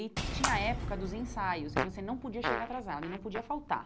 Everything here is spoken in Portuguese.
E tinha a época dos ensaios, que você não podia chegar atrasada e não podia faltar.